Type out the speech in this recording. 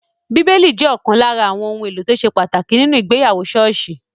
Bíbélì jẹ́ ọ̀kan lára àwọn ohun èlò tó ṣe pàtàkì nínu ìgbéyàwó ṣọ́ọ̀ṣì